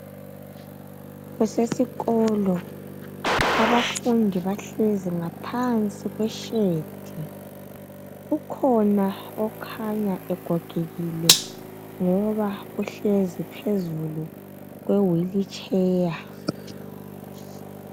Kusesikolo abafundi bahlezi ngaphansi kweshedi ukhona okhanya egogekile njengoba uhlezi phezulu kweWheelchair